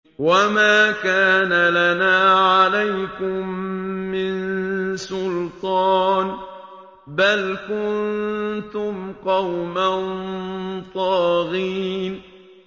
وَمَا كَانَ لَنَا عَلَيْكُم مِّن سُلْطَانٍ ۖ بَلْ كُنتُمْ قَوْمًا طَاغِينَ